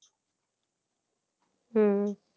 হুম